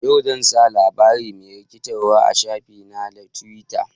Yau, zan sa labari mai rikitarwa a shafi na na twita.